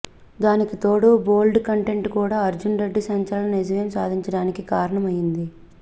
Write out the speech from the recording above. దానికి తోడు bold content కూడా అర్జున్ రెడ్డి సంచలన విజయం సాధించడానికి కారణం అయ్యింది